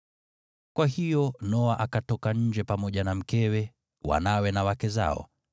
Kwa hiyo Noa akatoka nje pamoja na mkewe, wanawe na wake zao.